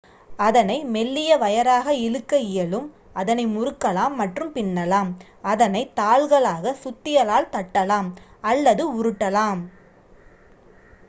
அதனை மெல்லிய வயராக இழுக்க இயலும் அதனை முறுக்கலாம் மற்றும் பின்னலாம் அதனை தாள்களாக சுத்தியலால் தட்டலாம் அல்லது உருட்டலாம்